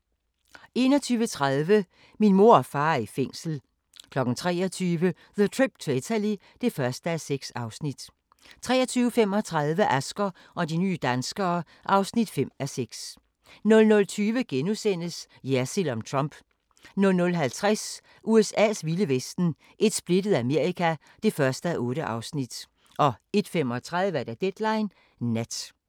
21:30: Min mor og far er i fængsel 23:00: The Trip to Italy (1:6) 23:35: Asger og de nye danskere (5:6) 00:20: Jersild om Trump * 00:50: USA's vilde vesten: Et splittet Amerika (1:8) 01:35: Deadline Nat